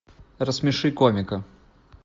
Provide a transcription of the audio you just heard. рассмеши комика